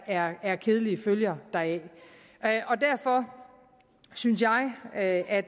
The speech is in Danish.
er er kedelige følger deraf derfor synes jeg at at